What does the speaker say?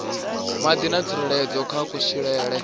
madi na tsireledzo kha kutshilele